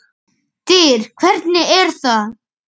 DYR, HVERNIG ER ÞAÐ!